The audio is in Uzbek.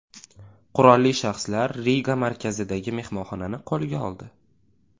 Qurolli shaxslar Riga markazidagi mehmonxonani qo‘lga oldi.